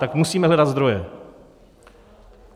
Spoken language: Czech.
Tak musíme hledat zdroje.